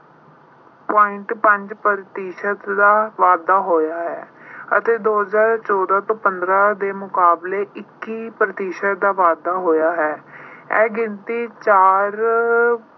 point ਪੰਜ ਪ੍ਰਤੀਸ਼ਤ ਦਾ ਵਾਧਾ ਹੋਇਆ ਹੈ ਅਤੇ ਦੋ ਹਜ਼ਾਰ ਚੌਦਾਂ ਤੋਂ ਪੰਦਰਾਂ ਦੇ ਮੁਕਾਬਲੇ ਇੱਕੀ ਪ੍ਰਤੀਸ਼ਤ ਦਾ ਵਾਧਾ ਹੋਇਆ ਹੈ। ਇਹ ਗਿਣਤੀ ਚਾਰ